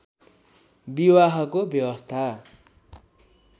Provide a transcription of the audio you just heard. विवाहको व्यवस्था